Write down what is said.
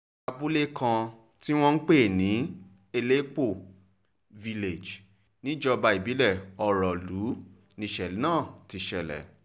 abúlé kan tí wọ́n ń pè ní elépo village níjọba ìbílẹ̀ ọrọ́lù níṣẹ̀lẹ̀ náà ti ṣẹlẹ̀